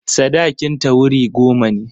Sadakinta wuri goma ne.